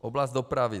Oblast dopravy.